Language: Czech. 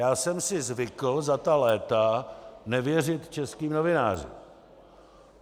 Já jsem si zvykl za ta léta nevěřit českým novinářům.